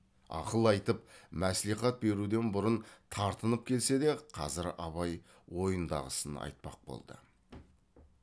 ақыл айтып мәслихат беруден бұрын тартынып келсе де қазір абай ойындағысын айтпақ болды